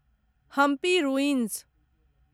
Hampi ruins